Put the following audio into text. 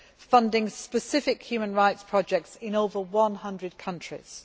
funding specific human rights projects in over one hundred countries.